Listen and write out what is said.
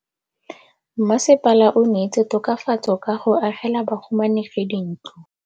Mmasepala o neetse tokafatsô ka go agela bahumanegi dintlo.